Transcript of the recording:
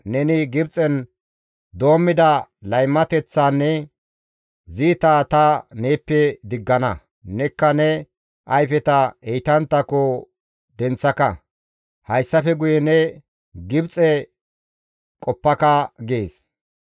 Neni Gibxen doommida laymateththaanne ziitaa ta neeppe diggana; nekka ne ayfeta heytanttako denththaka; hayssafe guye ne Gibxe qoppaka› gees.